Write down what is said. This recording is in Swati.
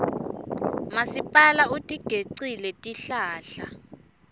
masipala utigecile tihlahla